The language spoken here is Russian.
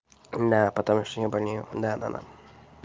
да потому что я болею да-да-да